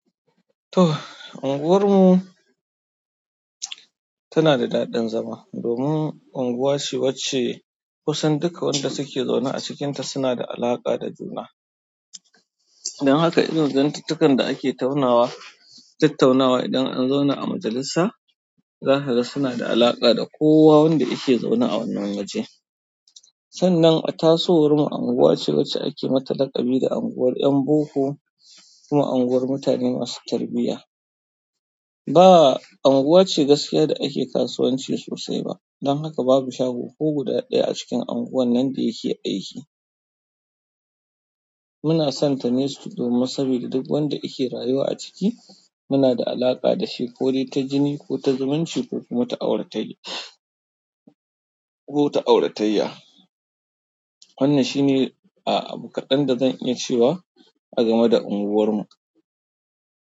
To, unguwarmu tana da daɗin zama domin unguwa ce wacce kusan duka wanda suke zaune a cikinta suna da alaƙa da juna. Don haka irin zantuttukan da ake taunawa, tattaunawa idan an zauna a majalisa za kaga suna da alaƙa da kowa wanda yake zaune a wannan waje. Sannan, a tasowarmu anguwa ce wacce ake mata laƙabi da anguwar 'yan boko kuma anguwar mutane masu tarbiyya. Ba unguwa ce gaskiya da ake kasuwanci sosai ba. Dan haka babu shago ko guda ɗaya a cikin anguwannan da yake aiki. Muna son tane domin sabida duk wanda yake rayuwa a ciki muna da alaƙa da shi ko dai ta jini ko ta zumunci ko kuma ta auratayya, ko ta auratayya. Wannan shine a abu kaɗan da zan iya cewa a game da unguwarmu.